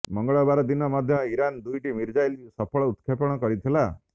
ମଙ୍ଗଳବାର ଦିନ ମଧ୍ୟ ଇରାନ୍ ଦୁଇଟି ମିଶାଇଲର ସଫଳ ଉତ୍କ୍ଷେପଣ କରିଥିଲା